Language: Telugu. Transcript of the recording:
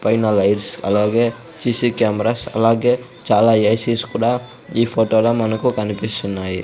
పైన లైట్స్ అలాగే సీసీ కెమెరాస్ అలాగే చాలా ఏ_సిస్ కూడా ఈ ఫోటోలో మనకు కనిపిస్తున్నాయి.